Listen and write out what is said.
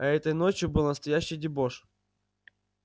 а этой ночью был настоящий дебош